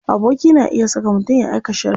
Aboki na iya saka mutum ya aika sharri.